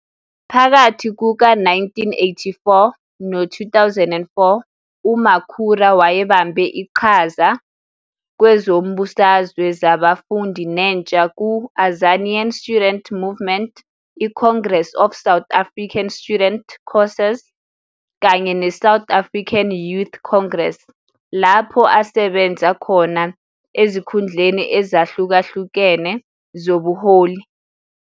Phakathi kuka-1984 no-2004 uMakhura wayebambe iqhaza kwezombusazwe zabafundi nentsha ku- Azanian Student Movement, iCongress of South African Students, COSAS, kanye neSouth African Youth Congress, lapho asebenza khona ezikhundleni ezahlukahlukene zobuholi.